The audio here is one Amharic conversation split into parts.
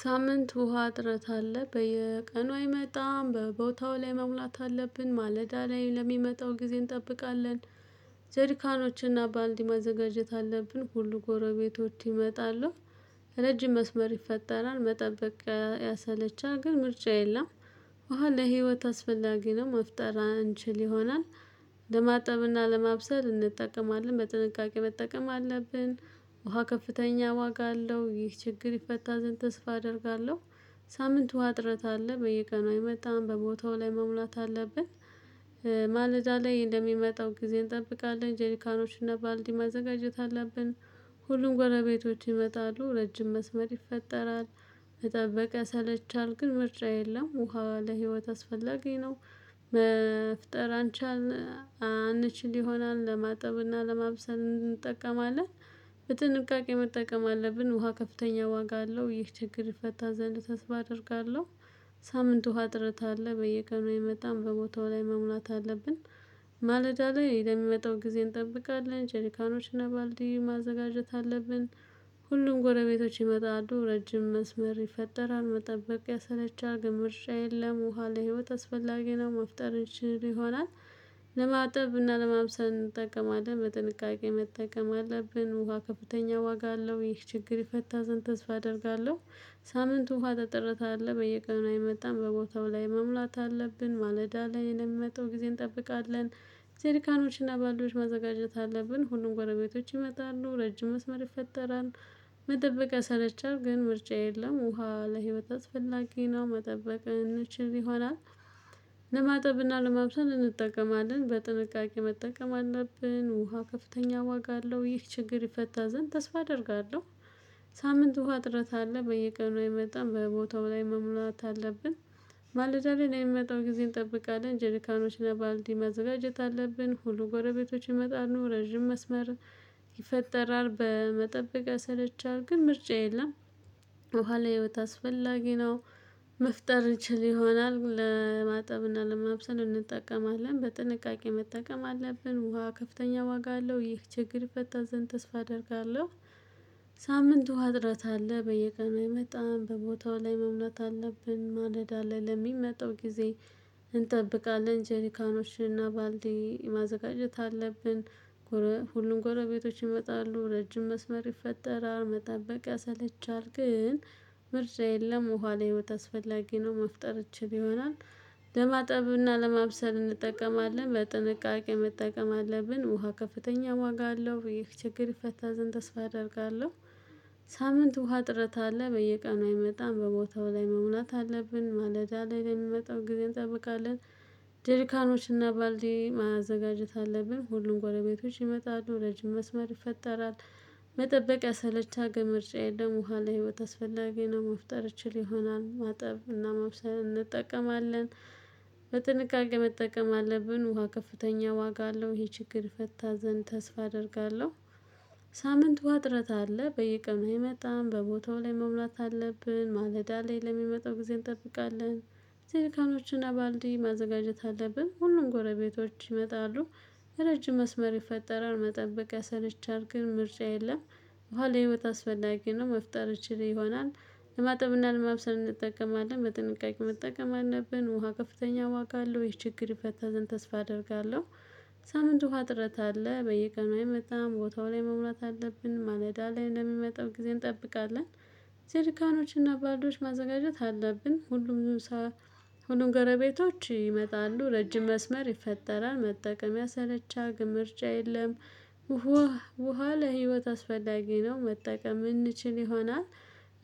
ሳምንት ውሃ ጥረት አለ በየቀኑ አይመጣም በቦታው ላይ መሙላት አለብን ማለዳ ላይ ለሚመጣው ጊዜ እንጠብቃለን። ጀሪካኖችንና ባልዲ መዘጋጀት አለብን ሁሉ ጎረቤቶች ይመጣሉ። ረጅም መስመር ይፈጠራል መጠበቅ ያሰለቻል ግን ምርጫ የለም። ውሃ ለህይወት አስፈላጊ ነው። መፍጠር አንችል ይሆናል። ለማጠብና ለማብሰል እንጠቀማለን በጥንቃቄ መጠቀም አለብን። ውሃ ከፍተኛ ዋጋ አለው ይህ ችግር ይፈታ ዘንድ ተስፋ አደርጋለሁ። ሳምንት ውሃ አጥረት አለ በየቀኑ አይመጣም በቦታው ላይ መሙላት አለብን። ማለዳ ላይ እንደሚመጣው ጊዜ እንጠብቃለን ጀሪካኖችን እና ባልዲ ማዘጋጀት አለብን። ሁሉም ጎረቤቶች ይመጣሉ ረጅም መስመር ይፈጠራል። መጠበቅ ያሰለቻል ግን ምርጫ የለም ውሃ ለህይወት አስፈላጊ ነው። መፍጠር አንቻልን አንችል ይሆናል ለማጠብና ለማብሰል እንጠቀማለን። በጥንቃቄ መጠቀም አለብን ውሃ ከፍተኛ ዋጋ አለው ይህ ችግር ይፈታ ዘንድ ተስፋ አደርጋለሁ። ሳምንት ውሃ እጥረት አለ በየቀኑ አይመጣም በቦታው ላይ መሙላት አለብን። ማለዳ ላይ ለሚመጣው ጊዜ እንጠብቃለን ጀሪካኖችና ባልዲ ማዘጋጀት አለብን። ሁሉም ጎረቤቶች ይመጣሉ ረጅም መስመር ይፈጠራል። መጠበቅ ያሰለቻል ግምርሻ የለም ውሃ ለህይወት አስፈላጊ ነው መፍጠር እንጂ ይሆናል። ለማጠብ እና ለማምሰል እንጠቀማለን በ ጥንቃቄ መጠቀም አለብን። ውሃ ከፍተኛ ዋጋ አለው ይህ ችግር ይፈታ ዘንድተስፋ አደርጋለሁ። ሳምንቱ ውሃ ተጠርታ አለ በየቀኑ አይመጣም በቦታው ላይ መሙላት አለብን። ማለዳ ላይ ለሚመጣው ጊዜ እንጠብቃለን። ጄሪካኖችና ባልዲዎች ማዘጋጀት አለብን ሁሉም ጎረቤቶች ይመጣሉ ረጅም መስመር ይፈጠራል። መጠበቅ ያሰለቻል ግን ምርጫ የለም ውሃ ለህይወት አስፈላጊ ነው መጠበቅ እንችል ይሆናል። ለማጠብና ለማብሰል እንጠቀማለን በጥንቃቄ መጠቀም አለብን። ውሃ ከፍተኛ ዋጋ አለው ይህ ችግር ይፈታ ዘንድ ተስፋ አደርጋለሁ። ሳምንት ውሃ እጥረት አለ በየቀኑ አይመጣም በቦታው ላይ መሙላት አለብን። ማለዳ ላይ ለሚመጣው ጊዜ እንጠብቃለን። ጄሪካኖችና ባልዲ መዘጋጀት አለብን ሁሉ ጎረቤቶች ይመጣሉ ረጅም መስመር ይፈጠራል። በመጠበቅ ያሰለቻል ግን ምርጫ የለም። ውሃ ለህይወት አስፈላጊ ነው። መፍጠር እችል ይሆናል ለማጠብ እና ለማብሰል እንጠቀማለን በጥንቃቄ መጠቀም አለብን። ውሃ ከፍተኛ ዋጋ አለው ይህ ችግር ይፈታ ዘንድ ተስፋ አደርጋለሁ። ሳምንቱ ውሃ እጥረት አለ በየቀኑ አይመጣም በቦታው ላይ መሙላት አለብን። ማለዳ አለ ለሚመጣው ጊዜ እንጠብቃለን ጀሪካኖችና እና ባልዲ ማዘጋጀት አለብን። ሁሉም ጎረቤቶች ይመጣሉ ረጅም መስመር ይፈጠራል። መጠበቅ ያሰለቻል ግን ምርጫ የለም ውሃ ለህይወት አስፈላጊ ነው። መፍጠር ይችል ይሆናል። ለማጠብና ለማብሰል እንጠቀማለን በጥንቃቄ መጠቀም አለብን። ውሃ ከፍተኛ ዋጋ አለው ይህ ችግር ይፈታ ዘንድ ተስፋ አደርጋለሁ። ሳምንት ውሃ እጥረት አለ በየቀኑ አይመጣም በቦታው ላይ መሙላት አለብን። ማለዳ ላይ ለሚመጣው ጊዜ እንጠብቃለን። ጄሪካኖችና ባልዲ ማዘጋጀት አለብን ሁሉም ጎረቤቶች ይመጣሉ ረጅም መስመር ይፈጠራል። መጠበቅ ያሰለቻል ግን ምርጫ የለም ውሃ ለህይወት አስፈላጊ ነው። መፍጠር እችል ይሆናል ማጠብ እና ማብሰል እንጠቀማለን። በጥንቃቄ መጠቀም አለብን። ውሃ ከፍተኛ ዋጋ አለው ይሄ ችግር ይፈታ ዘንድ ተስፋ አደርጋለሁ። ሳምንት ውሃ እጥረት አለ በየቀኑ አይመጣም በቦታው ላይ መሙላት አለብን። ማለዳ ላይ ለሚመጣው ጊዜ እንጠብቃለን። ጄሪካኖችን ባልዲ ማዘጋጀት አለብን ሁሉም ጎረቤቶች ይመጣሉ። ረጅም መስመር ይፈጠራል። መጠበቅ ያሰለቻል ግን ምርጫ የለም። ውሃ ለህይወት አስፈላጊ ነው። መፍጠር እችል ይሆናል። ለማጠብና ለማብሰል እንጠቀማለን በጥንቃቄ መጠቀም አለብን። ውሃ ከፍተኛ ዋጋ አለው ይህ ችግር ይፈታ ዘንድ ተስፋ አደርጋለሁ። ሳምንት ውሃ እጥረት አለ በየቀኑ አይመጣም ቦታው ላይ መሙላት አለብን። ማለዳ ላይ ለሚመጣው ጊዜ እንጠብቃለን። ጀሪካኖች እና ባልዲዎች ማዘጋጀት አለብን። ሁሉም ሰው ሁሉም ጎረቤቶች ይመጣሉ ረጅም መስመር ይፈጠራል። መጠቀም ያሰለቻል ግን ምርጫ የለም። ውሃ ውሃ ለህይወት አስፈላጊ ነው። መጠቀም የምንችል ይሆናል።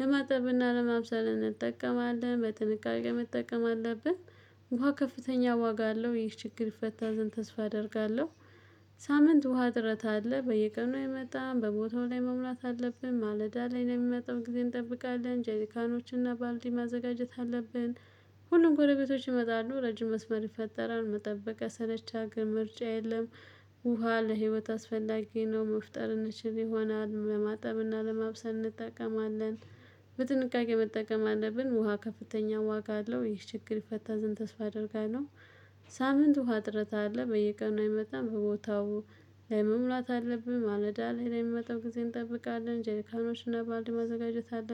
ለማጠብና ለማብሰል እንጠቀማለን በጥንቃቄ መጠቀም አለብን። ውሃ ከፍተኛ ዋጋ አለው ይህ ችግር ይፈታ ዘንድ ተስፋ አደርጋለሁ። ሳምንት ውሃ እጥረት አለ በየቀኑ አይምጣም በቦታው ላይ መሙላት አለብን። ማለዳ ላይ ለሚመጣው ጊዜ እንጠብቃለን ጀሪካኖች እና ባልዲ ማዘጋጀት አለብን። ሁሉም ጎረቤቶች ይመጣሉ ረጅም መስመር ይፈጠራል። መጠበቅ ያሰለቻልግን ምርጫ የለም። ውሃ ለህይወት አስፈላጊ ነው። መፍጠር እንችል ይሆናል ለማጠብ እና ለመብሰል እንጠቀማለን። በጥንቃቄ መጠቀም አለብን። ውሃ ከፍተኛ ዋጋ አለው ይህ ችግር ይፈታ ዘንድ ተስፋ አደርጋለሁ። ሳምንት ውሃ እጥረት አለ በየቀኑ አይመጣም በቦታው ላይ መሙላት አለብኝ። ማለዳ ላይ ለመጠበቅ ጊዜ እንጠብቃለን ጀርካኖች እና ባልዲ ማዘጋጀት አለብኝ